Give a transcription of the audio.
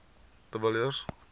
de villiers